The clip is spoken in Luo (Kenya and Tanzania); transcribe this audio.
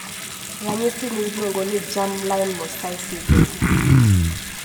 ranyisi ni iluongo ni germline mosaicism